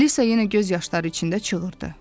Alisa yenə göz yaşları içində çığırdı.